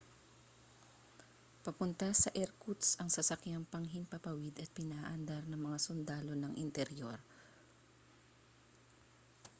papunta sa irkutsk ang sasakyang panghimpapawid at pinaaandar ng mga sundalo ng interior